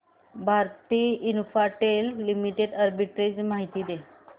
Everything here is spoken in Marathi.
भारती इन्फ्राटेल लिमिटेड आर्बिट्रेज माहिती दे